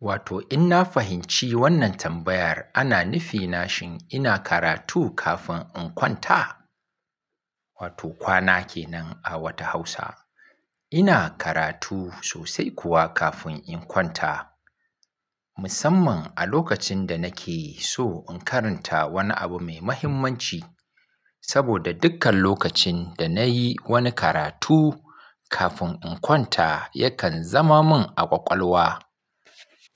Wato in na fahimci wannan tambayar ana nufi na shin ina karatu kafin in kwanta? Wato kwana kenan a wata Hausa, ina karatu sosai kuwa kafin in kwanta. Musamman a lokacin da nake so in karanta wani abu mai muhimmanci. Saboda dukkan lokacin da na yi wani karatu kafin in kwanta yakan zama min a ƙwaƙwalwa.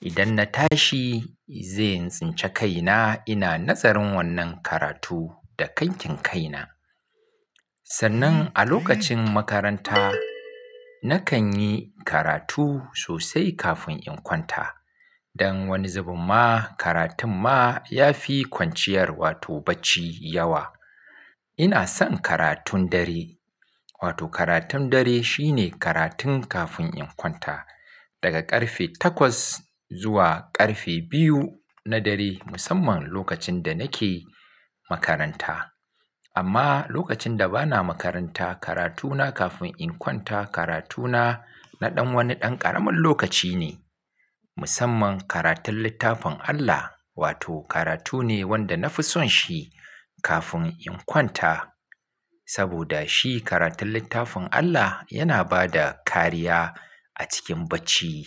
Idan na tashi zai in tsinci kaina ina nazarin wannan karatu da kankin kaina. Sannan a lokacin makaranta nakan yi karatu sosai kafin in kwanta. Wato in na fahimci wannan tambayar ana nufi na shin ina karatu kafin in kwanta? Ina son karatun dare. Wato karatun dare shine karatun kafin in kwanta daga ƙarfe takwas zuwa ƙarfe biyu na dare, musamman lokacin da nake makaranta. Amma lokacin da bana makaranta karatu na kafin in kwanta karatu na naɗan wani ɗan ƙaramin lokaci ne. Musamman karatun littafin Allah wato karatu ne wanda na fi son shi kafin in kwanta. Saboda shi karatun littafin Allah yana bada kariya a cikin bacci.